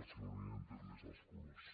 els haurien tret més els colors